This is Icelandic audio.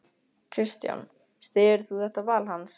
Kristján: Styður þú þetta val hans?